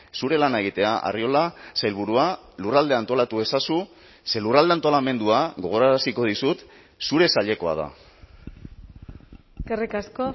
zure lana egitea arriola sailburua lurralde antolatu ezazu ze lurralde antolamendua gogoraraziko dizut zure sailekoa da eskerrik asko